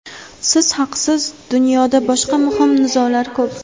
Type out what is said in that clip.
Siz haqsiz: dunyoda boshqa muhim nizolar ko‘p.